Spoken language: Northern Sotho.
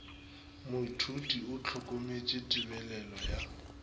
moithuti o hlokometše tebelelo ya